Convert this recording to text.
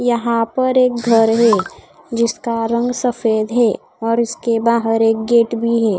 यहां पर एक घर है जिसका रंग सफेद है और इसके बाहर एक गेट भी है।